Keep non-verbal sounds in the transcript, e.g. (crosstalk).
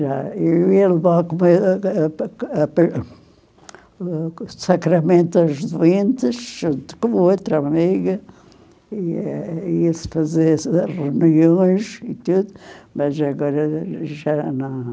Já, eu ia levar (unintelligible) os sacramentos aos doentes junto com outra amiga, ia ia-se fazer reuniões e tudo, mas agora já não.